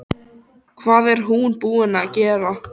Ekkert mátti koma mér á óvart.